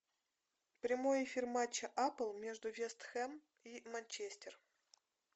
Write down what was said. прямой эфир матча апл между вест хэм и манчестер